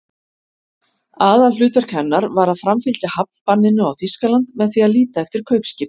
Aðalhlutverk hennar var að framfylgja hafnbanninu á Þýskaland með því að líta eftir kaupskipum.